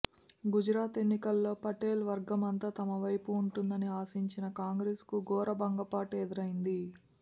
గుజరాత్ ఎన్నికల్లో పటేల్ వర్గమంతా తమ వైపు ఉంటుందని ఆశించిన కాంగ్రెస్ కు ఘోర భంగపాటు ఎదురైంది